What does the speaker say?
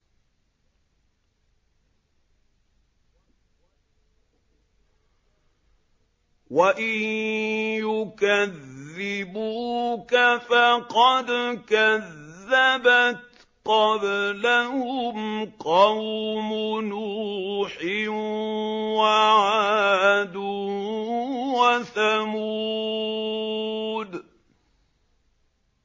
وَإِن يُكَذِّبُوكَ فَقَدْ كَذَّبَتْ قَبْلَهُمْ قَوْمُ نُوحٍ وَعَادٌ وَثَمُودُ